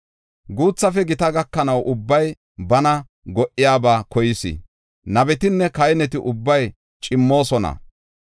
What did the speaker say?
“Guuthafe gita gakanaw ubbay bana go77iyabaa koyees. Nabetinne kahineti ubbay cimmoosona.